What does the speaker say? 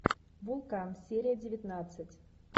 вулкан серия девятнадцать